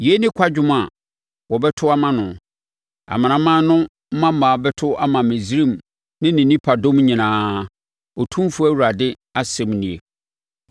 “Yei ne kwadwom a wɔbɛto ama no. Amanaman no mmammaa bɛto ama Misraim ne ne nipadɔm nyinaa, Otumfoɔ Awurade asɛm nie.”